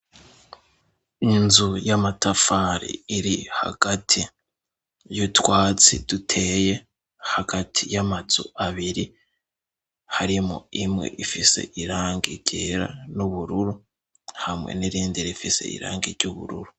inzu y'amatafari iri hagati y'utwatsi duteye hagati y'amazu abiri harimo imwe ifise irangi iryera n'ubururu hamwe n'irindi rifise irangi ry'ubururu